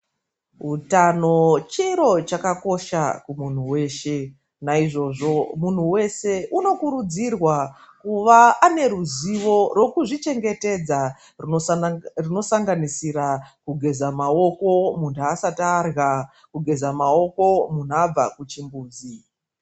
Utano chiro chakakosha kumunhu weshe. Naizvozvo muntu weshe unokurudzirwa kuva neruzivo rwekuzvichengetedza rwunosanganisira kugeza maoko, muntu asati arya, kugeza maoko mhunthu abva kuchimbuzi.